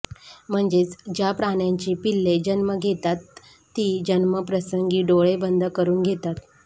म्हणजेच ज्या प्रण्यांची पिल्ले जन्म घेतात ते जन्माप्रसंगी डोळे बंद करून घेतात